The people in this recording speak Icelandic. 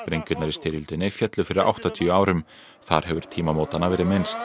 sprengjurnar í styrjöldinni féllu fyrir áttatíu árum þar hefur tímamótanna verið minnst